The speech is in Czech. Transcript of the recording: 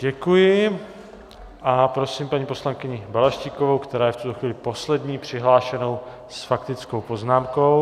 Děkuji a prosím paní poslankyni Balaštíkovou, která je v tuto chvíli poslední přihlášenou s faktickou poznámkou.